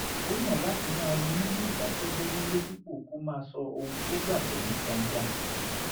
ó yàn láti máa ronú ní ìdákẹ́jẹ́ẹ́ nílé dípò kó máa sọ ohun tó gbàgbọ́ ní gbangba